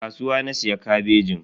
A kasuwa na siya kabejin.